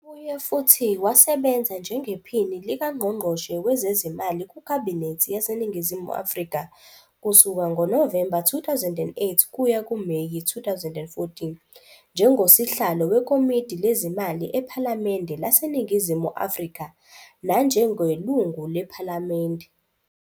Ubuye futhi wasebenza njengePhini likaNgqongqoshe Wezezimali kuKhabinethi yaseNingizimu Afrika kusuka ngoNovemba 2008 kuya kuMeyi 2014, njengosihlalo weKomidi Lezimali ePhalamende laseNingizimu Afrika, nanjengeLungu lePhalamende